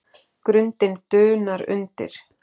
Grundin dunar undir.